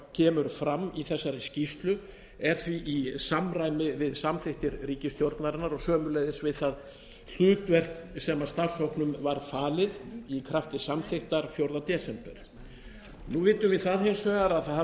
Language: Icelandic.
kemur fram í þessari skýrslu er því í samræmi við samþykktir ríkisstjórnarinnar og sömuleiðis við það hlutverk sem starfshópnum var falið í krafti samþykktar fjórða desember nú vitum við það hins vegar að það hafa ekki